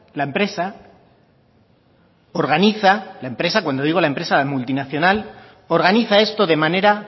la empresa organiza cuando digo la empresa multinacional organiza esto de manera